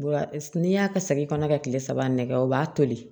N'i y'a ka segin kɔnɔ ka kile saba nɛgɛ o b'a toli